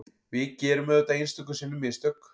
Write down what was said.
Við gerum auðvitað einstöku sinnum mistök